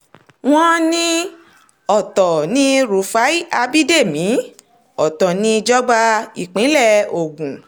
wọ́n ní ọ̀tọ̀ ní ọ̀tọ̀ ni rúfáì ábídẹ́mi ọ̀tọ̀ níjọba ìpínlẹ̀ ogun